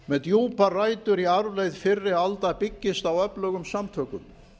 með djúpar rætur í arfleifð fyrri alda byggist á öflugum samtökum